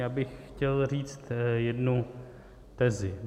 Já bych chtěl říct jednu tezi.